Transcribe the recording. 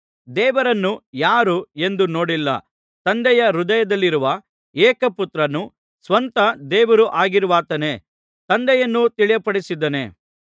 ದೇವರನ್ನು ಯಾರೂ ಎಂದೂ ನೋಡಿಲ್ಲ ತಂದೆಯ ಹೃದಯದಲ್ಲಿರುವ ಏಕಪುತ್ರನೂ ಸ್ವತಃ ದೇವರೂ ಆಗಿರುವಾತನೇ ತಂದೆಯನ್ನು ತಿಳಿಯಪಡಿಸಿದ್ದಾನೆ